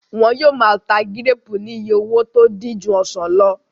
Wọ́n yóò máa ta gíréèpù ní iye owó tó dín ju ọsàn lọ